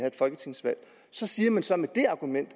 et folketingsvalg så siger man så med det argument at